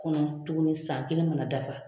Kɔnɔ tuguni san kelen mana dafa.